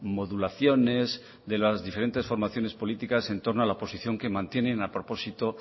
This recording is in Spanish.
modulaciones de las diferentes formaciones políticas entorno a la posición que mantienen a propósito